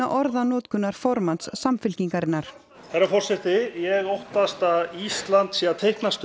orðanotkunar formanns Samfylkingarinnar herra forseti ég óttast að Ísland sé að teiknast